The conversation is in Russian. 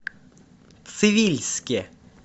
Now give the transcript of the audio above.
цивильске